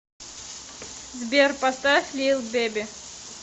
сбер поставь лил бебе